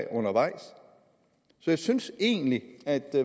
undervejs så jeg synes egentlig at